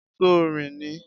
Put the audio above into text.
Ṣo rìn ni?